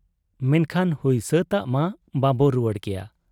ᱢᱮᱱᱠᱷᱟᱱ ᱦᱩᱭ ᱥᱟᱹᱛᱟᱜ ᱢᱟ ᱵᱟᱵᱚ ᱨᱩᱣᱟᱹᱲ ᱠᱮᱭᱟ ᱾